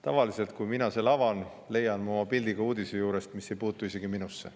Tavaliselt, kui mina need avan, leian ma oma pildi ka uudise juurest, mis ei puutu isegi minusse.